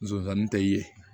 Zonzani tɛ ye